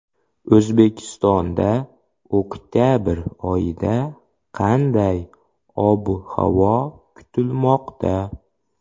O‘zbekistonda oktabr oyida qanday ob-havo kutilmoqda?